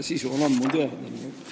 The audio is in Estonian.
Sisu on ammu teada.